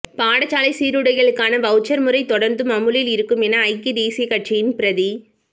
பாடசாலைச் சீருடைகளுக்கான வவுச்சர் முறை தொடர்ந்தும் அமுலில் இருக்கும் என ஐக்கிய தேசிய கட்சியின் பிரதி